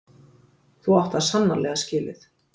Þú átt það sannarlega skilið.